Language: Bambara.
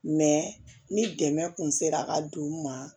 ni dɛmɛ kun sera ka don u ma